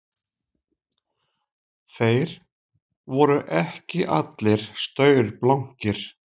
Þeir voru ekki allir staurblankir